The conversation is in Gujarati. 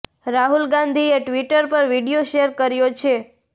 રાહુલ ગાંધીએ ટ્વિટર પર એ વીડિયો શેર કર્યો છે